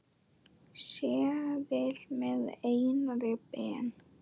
seðil með Einari Ben.